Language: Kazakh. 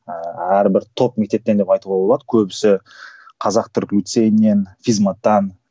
ыыы әрбір топ мектептен деп айтуға болады көбісі қазақ түрік лицейінен физ маттан